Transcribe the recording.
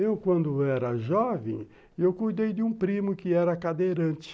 Eu, quando era jovem, eu cuidei de um primo que era cadeirante.